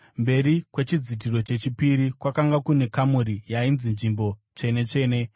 Mberi kwechidzitiro chechipiri kwakanga kune kamuri yainzi Nzvimbo Tsvene-tsvene,